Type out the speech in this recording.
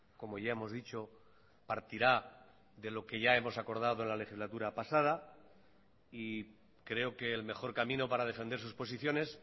como ya hemos dicho partirá de lo que ya hemos acordado en la legislatura pasada y creo que el mejor camino para defender sus posiciones